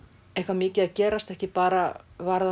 eitthvað mikið að gerast ekki bara